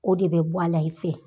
O de bɛ bɔ a la i fɛ